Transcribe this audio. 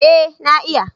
Eh na iya